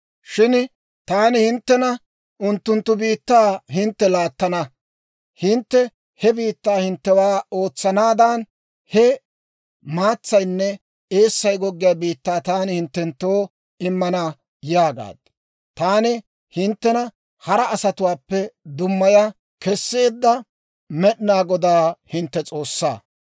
Shin taani hinttena, «Unttunttu biittaa hintte laattana; hintte he biittaa hinttewaa ootsanaadan, he maatsaynne eessay goggiyaa biittaa taani hinttenttoo immana» yaagaad. Taani hinttena hara asatuwaappe dummaya kesseedda Med'inaa Godaa hintte S'oossaa.